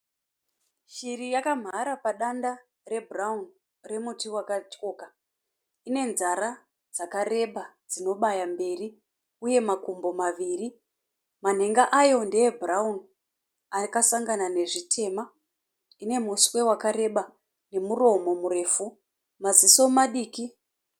Shiri yakamhara padanda rebhurawuni remuti wakatyoka. Ine nzara dzakareba dzinobaya mberi uye makumbo maviri. Manhenga ayo ndeebhurawuni akasangana nezvitema. Ine muswe wakareba nemuromo murefu. Maziso madiki.